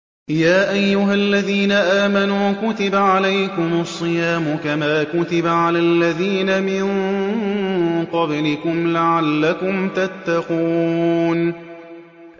يَا أَيُّهَا الَّذِينَ آمَنُوا كُتِبَ عَلَيْكُمُ الصِّيَامُ كَمَا كُتِبَ عَلَى الَّذِينَ مِن قَبْلِكُمْ لَعَلَّكُمْ تَتَّقُونَ